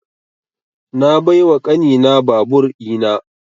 Na bai wa ƙani na babur ina